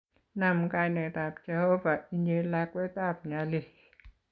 Nam kainetab Jehovah inye lakwet ab nyalil